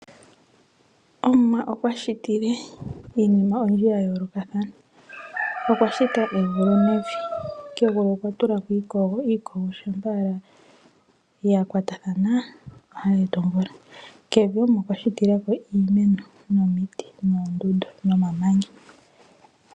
Omuwa okwa shi tile Iinima oyindji ya yoolokathana. Okwa shita egulu nevi. Kegulu okwa tula ko iikogo, iikogo shampa ala ya kwatathana ohayi eta omvula. Kevi Omuwa okwa shi tila ko iimeno, nomiti, noondundu nomamanya.